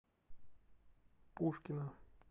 пушкино